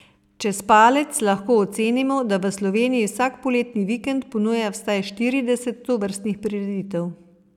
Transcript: Čez palec lahko ocenimo, da v Sloveniji vsak poletni vikend ponuja vsaj štirideset tovrstnih prireditev.